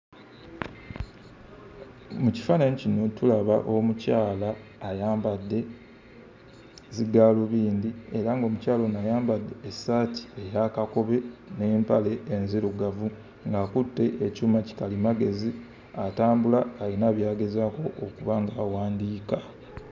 Mu kifaananyi kino tulaba omukyala ayambadde zigaalubindi era ng'omukyala ono ayambadde essaati eya kakobe n'empale enzirugavu ng'akutte ekyuma kikalimagezi, atambula ayina by'agezaako okuba ng'awandiika.